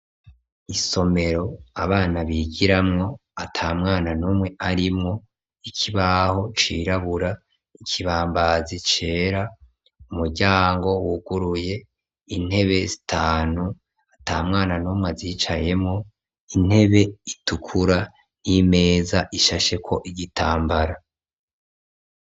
Isomero, abana bigiramwo, ata mwana n'umwe arimwo, ikibaho cirabura, ikibambazi cera, umuryango wuguruye, intebe zitanu, ata mwana n'umwe azicayemwo, intebe itukura n'imeza ishasheko igitambara.